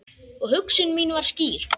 Og hugsun mín var skýr.